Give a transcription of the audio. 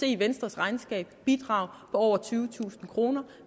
i venstres regnskab se bidrag på over tyvetusind kroner